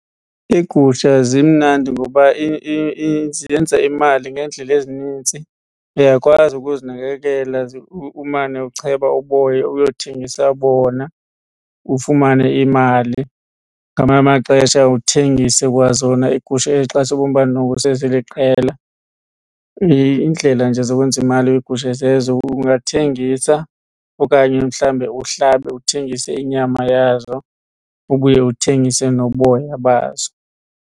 Iigusha zimnandi ngoba zenza imali ngeendlela ezinintsi. Uyakwazi ukuzinakekela umane ucheba uboya uyothengisa bona ufumane imali. Ngamanye amaxesha uthengise kwazona iigusha ezi xa sewubona uba noko seziliqela. Iindlela nje zokwenza imali kwigusha zezo ungathengisa okanye mhlawumbe uhlabe uthengise inyama yazo ubuye uthengise noboya bazo.